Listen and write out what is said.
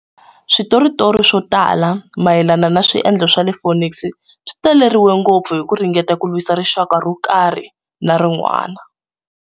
Switoritori swo tala mayelana na swendlo swa le Phoenix swi taleriwile ngopfu hi ku ringeta ku lwisa rixaka ro karhi na rin'wana.